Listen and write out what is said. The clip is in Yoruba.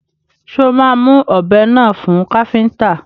Ṣé o máa mú ọbẹ́ náà fún káfíntà?